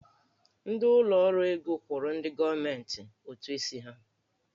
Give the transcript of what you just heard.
Ndị ụlọ ọrụ ego kwụrụ ndị gọọmentị ụtụ isi ha.